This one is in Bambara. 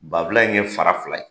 Bafulan in kɛ fara fila ye.